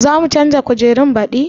Za mu canza kujerun baɗi?